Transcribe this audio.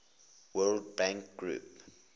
world bank group